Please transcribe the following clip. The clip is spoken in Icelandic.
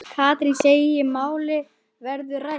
Katrín segir málin verða rædd.